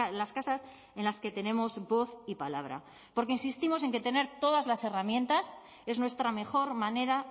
las casas en las que tenemos voz y palabra porque insistimos en que tener todas las herramientas es nuestra mejor manera